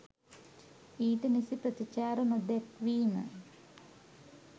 ඊට නිසි ප්‍රතිචාර නොදැක්වීම